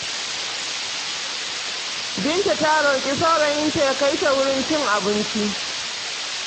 Binta ta roƙi saurayinta ya kai ta wurin cin abinci.